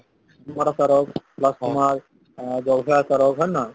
আমৰ আচাৰ হওক plus তোমাৰ অ জলফাইৰ আচাৰ হওক হয় নে নহয়